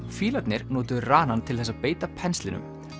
fílarnir notuðu ranann til þess að beita penslinum